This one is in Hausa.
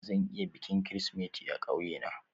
Zan yi bikin Kirsimeti a ƙauye na